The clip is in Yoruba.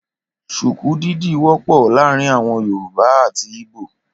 Ṣùkú dídì wọ́pọ̀ láàrin àwọn yorùbá àti ìgbò